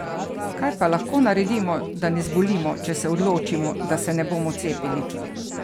Kaj pa lahko naredimo, da ne zbolimo, če se odločimo, da se ne bomo cepili?